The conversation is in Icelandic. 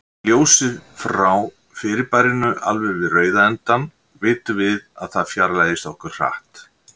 Sé ljósið frá fyrirbærinu alveg við rauða endann, vitum við að það fjarlægist okkur hratt.